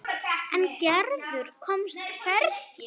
En Gerður komst hvergi.